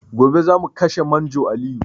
Gobe zamu kashe manjo Aliyu